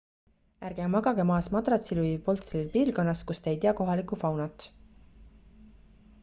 ärge magage maas madratsil või polstril piirkonnas kus te ei tea kohalikku faunat